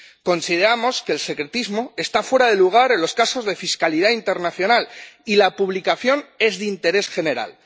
Consideramos que el secretismo está fuera de lugar en los casos de fiscalidad internacional, y la publicación es de interés general.